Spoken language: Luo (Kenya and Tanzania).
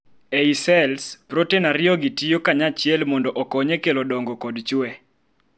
ei sels, proten ariyo gi tiyo kanyachiel mondo okony e kelo dongo kod chue